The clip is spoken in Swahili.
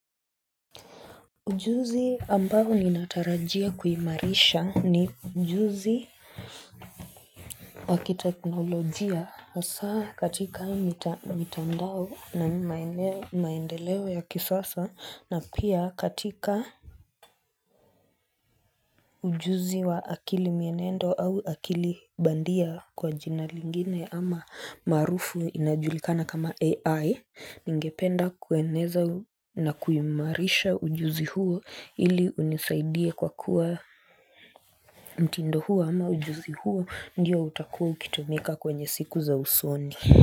Ujuzi ambao ninatarajia kuhimarisha ni ujuzi wa kiteknolojia hasa katika mitandao na maendeleo ya kisasa na pia katika Ujuzi wa akili mienendo au akili bandia kwa jina lingine ama maarufu inajulikana kama AI Ningependa kueneza na kuhimarisha ujuzi huo ili unisaidie kwa kuwa mtindo huu ama ujuzi huu uwa ndio utakuwa ukitumika kwenye siku za usoni.